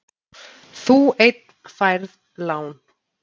Þú einn færð lán.